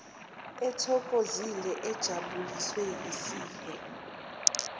ethokozile ejabuliswe yisihe